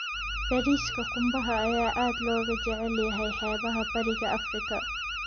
Bariiska qumbaha ayaa aad looga jecel yahay xeebaha Bariga Afrika.